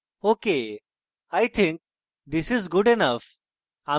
ok i think this is good enough